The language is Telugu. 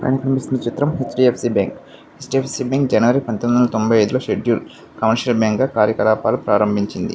పైన కనిపిస్తున్న చిత్రం H _D _F _C bank . H _D _F _C పంతొమ్మిది వందల తొంబై అయిదు లో కమర్షియల్ బ్యాంక్ గా కార్యకలాపాలు సాగించింది.